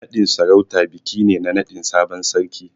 Naɗin sarauta biki ne na naɗin sabon sarki.